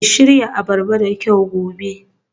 Ki shirya abarba da kyau gobe